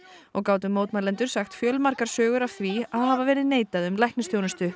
og gátu mótmælendur sagt fjölmargar sögur af því að hafa verið neitað um læknisþjónustu